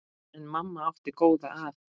En mamma átti góða að.